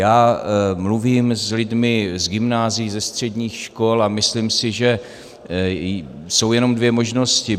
Já mluvím s lidmi z gymnázií, ze středních škol a myslím si, že jsou jenom dvě možnosti.